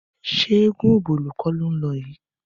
Ṣé eégún Ọ̀bọ̀lọ́ kọ́ ló ń lọ yìí?